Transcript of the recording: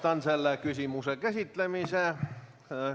Lõpetan selle küsimuse käsitlemise.